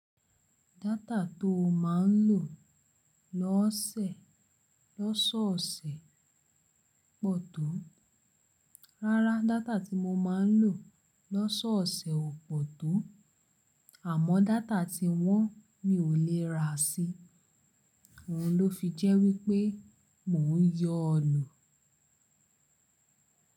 Data tó máa ń lò lọ́sẹ̀, lọ́sọ̀ọ̀sẹ̀ pọ̀ tó. Rárá, data tí mo máa ń lò lọ́sọọ̀sẹ̀ ò pọ̀ tó. Àmọ́ data tí wọ́n mi ò lè ra sí. Òhun ló fi jẹ́ wípé mò ń yọ ọ́ lò.